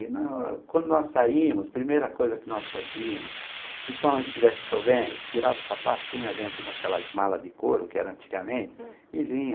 E na quando nós saíamos, a primeira coisa que nós fazíamos, principalmente se estivesse chovendo, tirava o sapato, punha dentro daquelas mala de couro que eram antigamente e vinha.